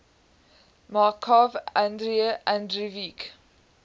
markov andrei andreevich